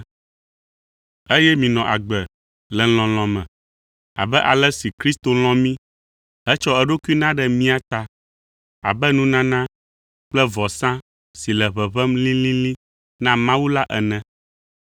eye minɔ agbe le lɔlɔ̃ me abe ale si Kristo lɔ̃ mí hetsɔ eɖokui na ɖe mía ta abe nunana kple vɔsa si le ʋeʋẽm lĩlĩlĩ na Mawu la ene.